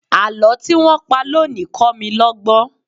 Àlọ́ tí wọ́n pa lónìí kọ́ mi lọ́gbọ́n.